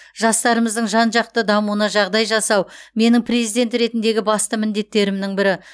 жастарымыздың жан жақты дамуына жағдай жасау менің президент ретіндегі басты міндеттерімнің бірі